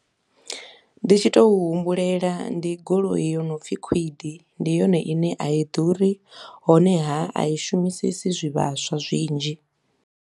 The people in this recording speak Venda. Ndi tshi tou humbulela ndi goloi yo no pfi kwid, ndi yone i ne a i ḓuri, honeha a i shumisesi zwivhaswa zwinzhi.